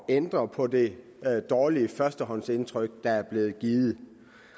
ændre på det dårlige førstehåndsindtryk der er blevet givet